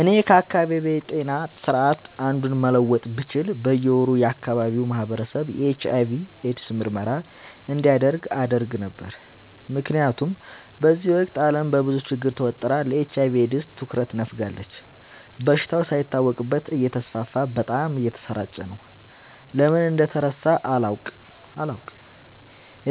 እኔ ከአካባቢዬ ጤና ስርዓት አንዱን መለወጥ ብችል በየ ወሩ የአካባቢው ማህበረሰብ የኤች/አይ/ቪ ኤድስ ምርመራ እንዲያደርግ አደረግ ነበር። ምክንያቱም በዚህ ወቅት አለም በብዙ ችግር ተወጥራ ለኤች/አይ/ቪ ኤድስ ትኩረት ነፋጋለች። በሽታው ሳይታወቅበት እተስፋፋ በጣም እየተሰራጨ ነው። ለምን እንደተረሳ አላውቅ